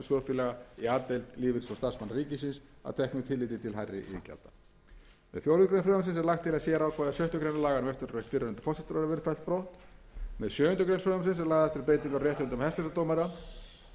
lagt til að sérákvæði sjöttu grein laganna um eftirlaunarétt fyrrverandi forsætisráðherra verði fellt brott um sjöundu greinar með sjöundu greinar frumvarpsins eru lagðar til breytingar á réttindum hæstaréttardómara til samræmis við þær